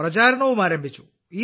പ്രചാരണവും ആരംഭിച്ചു